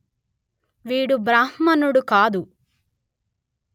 వీడు బ్రాహ్మణుడు కాదు